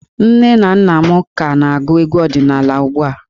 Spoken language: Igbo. Nne na nna m ka na-agụ egwu ọdịnala ugbu a.